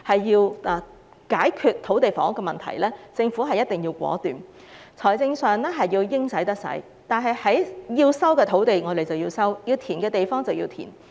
要解決土地房屋問題，政府必須果斷，在財政上應使得使，把該收的土地收回，把該填的土地填平。